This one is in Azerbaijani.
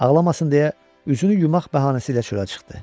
Ağlamasın deyə üzünü yumaq bəhanəsi ilə çölə çıxdı.